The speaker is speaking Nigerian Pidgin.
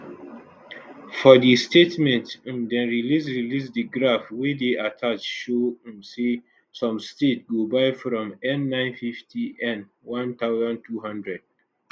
for di statement um dem release release di graph wey dey attached show um say some states go buy from n950n1200